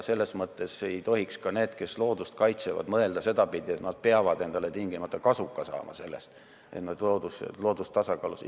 Selles mõttes ei tohiks ka need, kes loodust kaitsevad, mõelda sedapidi, et nad peavad endale tingimata kasuka saama seetõttu, et loodus on tasakaalus.